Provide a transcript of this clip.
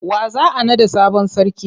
Wa za a naɗa sabon sarki?